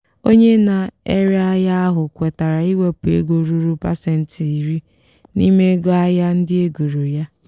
onye na-ere ahịa ahụ kwetara iwepụ ego ruru pasentị iri n'ime ego ahịa ndị egoro ya.